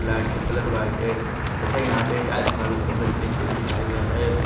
Light का colour white है तथा यहां पे टाइल्स मार्बल के मदत से नीचे बिछाया गया है।